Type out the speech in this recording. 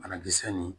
Banakisɛ nin